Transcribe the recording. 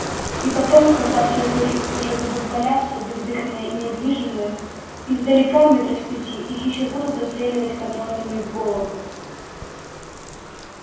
и потом когда все упыри уже будут валяться бездыханные и недвижимые издалека метров с пяти их ещё будут достреливать контрольными в голову